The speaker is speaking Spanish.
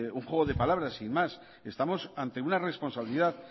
un juego de palabras sin más estamos ante una responsabilidad